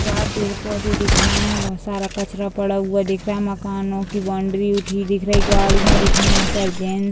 यहाँ पेड़-पौधे दिख रहे हैं बहोत सारा कचरा पड़ा हुआ दिख रहा हैं मकानो की बाउंड्री दिख रही हैं गाड़ियां दिख रही हैं बहुत सारी ट्रेन --